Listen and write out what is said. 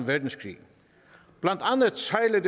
verdenskrig blandt andet sejlede